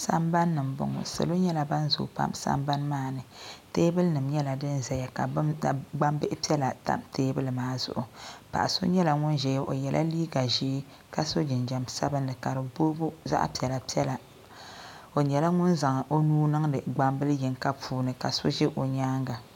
Sambani ndini m bɔŋɔ niriba nyɛla ban zooi pam sambani maa ni teebulinima nyɛla din zaya ka gbambili piɛla tam teebuli maa zuɣu paɣa so nyɛla ŋun ʒɛya o yɛla liiga ʒɛɛ ka so jinjam sabinli ka di booi zaɣ piɛla piɛla o nyɛla ŋun. zaŋ o nuu niŋdi gbambili yinga puuni ka so ʒɛ o nyaanga.